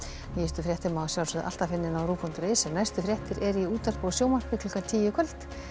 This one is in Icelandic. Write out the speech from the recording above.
nýjustu fréttir má alltaf finna á rúv punktur is en næstu fréttir eru í útvarpi og sjónvarpi klukkan tíu í kvöld